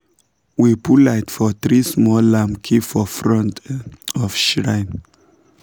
we put light for three small lamps keep for front of shrine